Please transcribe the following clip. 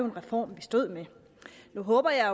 en reform vi stod med nu håber jeg